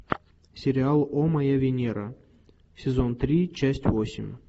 сериал о моя венера сезон три часть восемь